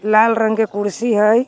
लाल रंग के कुर्सी हइ।